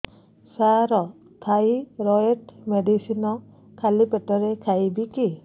ସାର thyroid medicine ଖାଲି ପେଟରେ ଖାଇବି କି